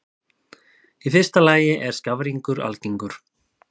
Í fyrsta lagi er skafrenningur algengur.